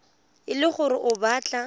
e le gore o batla